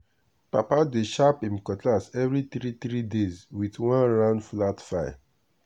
papa dey sharp him cutlass every three three days with one round flat file.